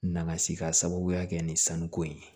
N nana se ka sababuya kɛ nin sanuko in ye